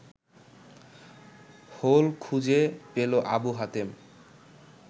whole খুঁজে পেল আবু হাতেম